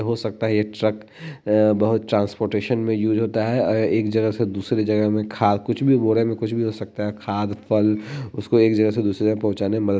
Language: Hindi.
हो सकता है ये ट्रक अ बहुत ट्रांसपोर्टेशन में यूज़ होता है अ यह एक जगह से दूसरी जगह में खा कुछ भी बोरे में कुछ भी हो सकता है खाद फल उसको एक जगह से दूसरी जगह पहुचाने में मदद --